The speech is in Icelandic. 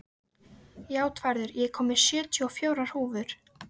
Játvarður, ég kom með sjötíu og fjórar húfur!